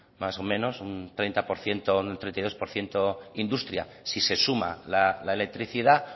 más o menos un treinta por ciento o un treinta y dos por ciento industria si se suma la electricidad